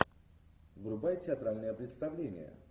врубай театральное представление